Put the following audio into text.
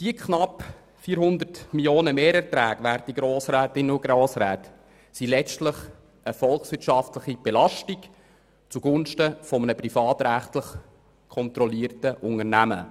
Diese knapp 400 Mio. Franken Mehrerträge sind letztlich eine volkswirtschaftliche Belastung zugunsten eines privatrechtlich kontrollierten Unternehmens.